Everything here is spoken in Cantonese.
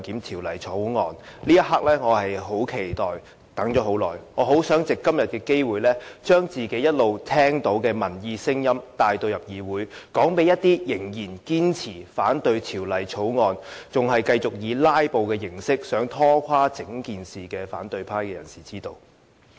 這一刻我很期待，很想藉今天的機會將自己一直聽到的民意聲音帶進議會，讓一些仍然堅持反對《條例草案》，仍然繼續想以"拉布"形式拖垮整件事的反對派人士知道。